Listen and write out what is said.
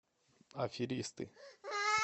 аферисты